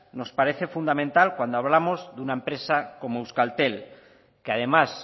nos parece fundamental cuando hablamos de una empresa como euskaltel que además